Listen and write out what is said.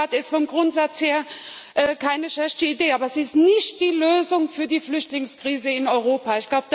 Die Blue Card ist vom Grundsatz her keine schlechte Idee, aber sie ist nicht die Lösung für die Flüchtlingskrise in Europa.